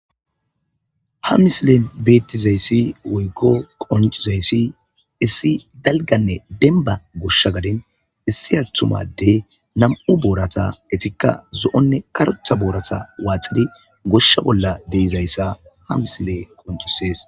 ha misilen beettizayssi woygo qoncizayssi issi dalganne denba goshsha gadin issi athumaddey nam7u boorata etikka zo7onne karocha boorata waaxidi goshsha bolla deizayssa ha misile qoncisees